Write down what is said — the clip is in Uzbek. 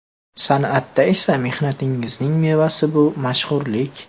San’atda esa mehnatingizning mevasi bu – mashhurlik!